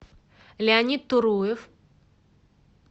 леонид туруев